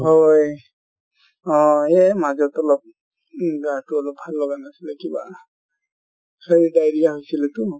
হয় হয় অ এই মাজত অলপ উম গা তো অলপ ভাল লাগা নাছিলে কিবা diarrhea হৈছিলেতো